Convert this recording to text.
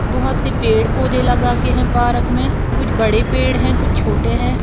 बहोत से पेड़ पौधे लगा के है पारक में कुछ बड़े पेड़ है कुछ छोटे हैं।